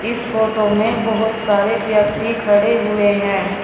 इस फोटो में बहुत सारे व्यक्ति खड़े हुए हैं।